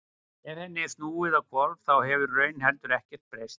ef henni er snúið á hvolf þá hefur í raun heldur ekkert breyst